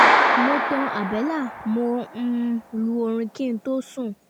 mo tan àbẹ́là mo um lu orin kí n tó sùn